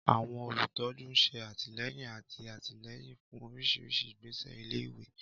Àwọn olùtọ́jú ń ṣe àtìlẹ́yìn àti alátìlẹ́yìn fún oríṣiríṣi ìgbésẹ̀ ilé-ìwé.